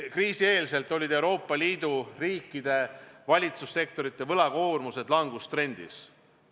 Kriisi eel oli Euroopa Liidu riikide valitsussektorite võlakoormus languses.